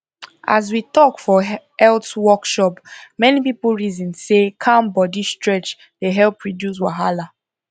um as we um talk for um health workshop many people reason say calm body stretch dey help reduce wahala